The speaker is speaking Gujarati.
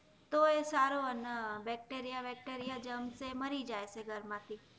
તો સારો ને બેકટેરિયા બેકટેરિયા જમ્ર્સ એ મારી જાય આપડા ઘરે માંથી